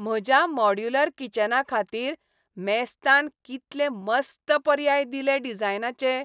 म्हज्या मॉड्यूलर किचनाखातीर मेस्तान कितले मस्त पर्याय दिले डिझायनाचे.